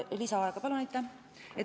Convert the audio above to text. Lisaaega palun!